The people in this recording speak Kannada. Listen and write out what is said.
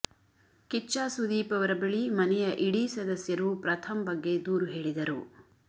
ಕಿಚ್ಚ ಸುದೀಪ್ ಅವರ ಬಳಿ ಮನೆಯ ಇಡೀ ಸದಸ್ಯರು ಪ್ರಥಮ್ ಬಗ್ಗೆ ದೂರು ಹೇಳಿದರು